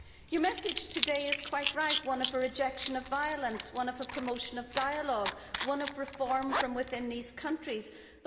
Your message today is quite right one of rejection of violence, one of promotion of dialogue, one of reform from within the countries concerned.